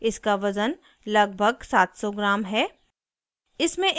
इसका वज़न लगभग 700 ग्राम है